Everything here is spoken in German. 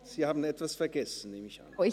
Sie haben etwas vergessen, nehme ich an.